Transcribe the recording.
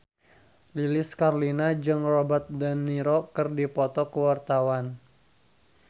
Lilis Karlina jeung Robert de Niro keur dipoto ku wartawan